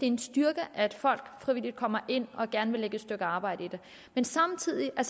en styrke at folk frivilligt kommer ind og gerne vil lægge et stykke arbejde i det men samtidig er